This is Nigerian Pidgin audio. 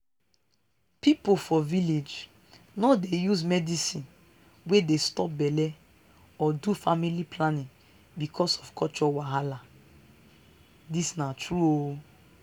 people for village no dey use medicine wey dey stop belle or do family planning because of culture wahala. this na true o